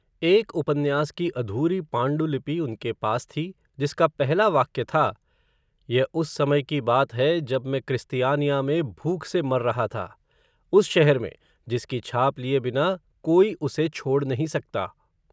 एक उपन्यास की अधूरी पाण्डुलिपि उनके पास थी, जिसका पहला वाक्य था, यह उस समय की बात है, जब मैं, क्रिस्तियानिया में भूख से मर रहा था, उस शहर में, जिसकी छाप लिए बिना, कोई उसे छोड़ नहीं सकता